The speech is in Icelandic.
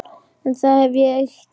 En það hef ég gert.